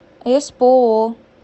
эспоо